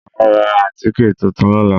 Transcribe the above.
Màá ra àtíkè tuntun lóla